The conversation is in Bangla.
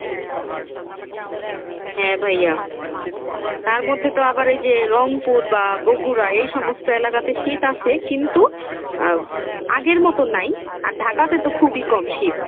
হ্যাঁ ভাইয়া, তার মধ্যে তো আবার এই যে রংপুর বা বগুরা এই সমস্ত এলাকাতে শীত আসে, কিন্তু আহ আগের মতো নাই আর ঢাকাতে তো খুবই কম শীত।